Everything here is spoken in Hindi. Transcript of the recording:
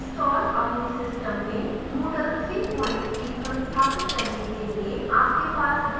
अपने system में moodle 33 संस्थापित करने के लिए आपके पास वह machine होनी चाहिए जो supports करे: